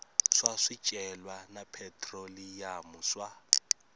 swa swicelwa na phetroliyamu swa